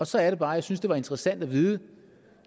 så er det bare jeg synes det var interessant at vide